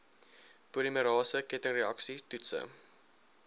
polimerase kettingreaksie toetse